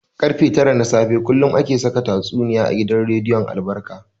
Karfe tara na safe kullum ake saka tatsuniya a gidan rediyon albarka.